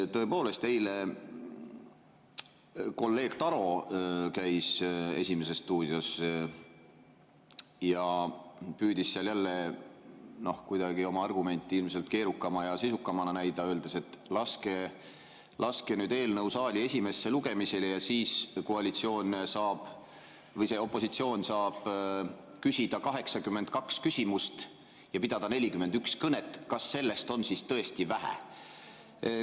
Tõepoolest, eile käis kolleeg Taro "Esimeses stuudios" ja püüdis seal jälle oma argumenti ilmselt keerukamana ja sisukamana näidata, öeldes, et laske nüüd eelnõu saali esimesele lugemisele ja siis opositsioon saab küsida 82 küsimust ja pidada 41 kõnet, kas sellest on siis tõesti vähe.